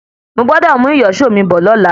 Mo gbọ́dọ̀ mú ìyíṣòó mi bọ̀ lọ́la.